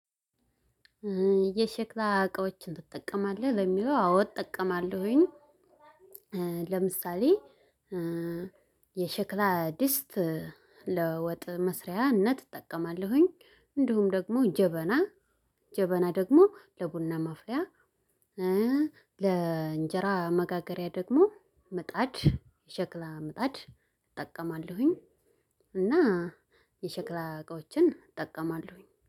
የሸክላ እቃዎችን ትጠቀማለህ? ለሚለው አዎ እጠቀማለሁኝ። ለምሳሌ የሸክላ ድስት። ለወጥ መስሪያነት እጠቀማለሁኝ። እንዲሁም ደግሞ ጀበና ጀበና ደግሞ ለቡና ማፍያ። ለእንጀራ መጋገሪያ ደግሞ ምጣድ የሸክላ ምጣድ እጠቀማለሁኝ። እና የሸክላ እቃዎችን እጠቀማለሁኝ